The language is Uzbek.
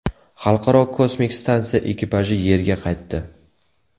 Xalqaro kosmik stansiya ekipaji Yerga qaytdi.